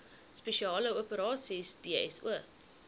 spesiale operasies dso